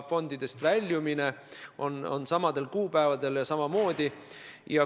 Fondidest väljumine on võimalik samadel kuupäevadel ja samamoodi.